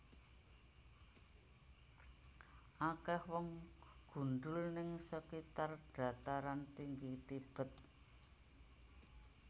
Akeh wong gundul ning sekitar Dataran Tinggi Tibet